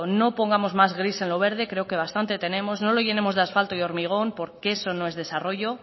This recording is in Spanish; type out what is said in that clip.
no pongamos más gris en lo verde creo que bastante tenemos no lo llenemos de asfalto y hormigón porque eso no es desarrollo